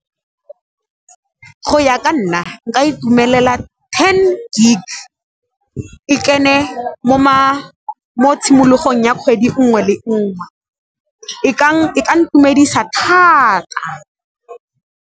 Go ya ka nna nka itumelela ten gig, e kene mo tshimologong ya kgwedi 'ngwe le 'ngwe, e ka ntumedisa thata.